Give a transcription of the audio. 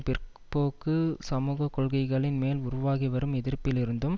பிற்போக்கு சமூக கொள்கைகளின் மேல் உருவாகிவரும் எதிர்ப்பிலிருந்தும்